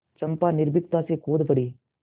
चंपा निर्भीकता से कूद पड़ी